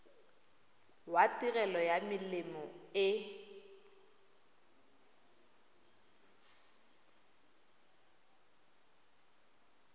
wa tirelo ya melemo e